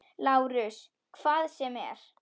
LÁRUS: Hvað sem er.